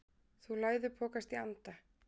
Þú læðupokast í anda.